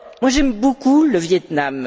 J'aime beaucoup le Viêt Nam.